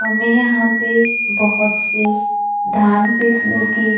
हमें यहां पे बहोत से धान पीसने की--